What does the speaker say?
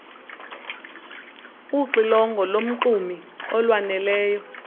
uxilongo lomxumi olwaneleyo